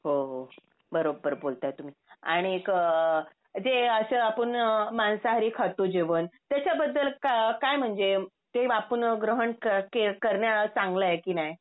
हो हो बरोबर बोलताय तुम्ही आणि एक अ अ ते असं आपण मांसाहारी खातो जेवण त्याच्या बद्द्ल क काय म्हणजे ते आपण ग्रहण क कारण चांगला आहे कि नाय.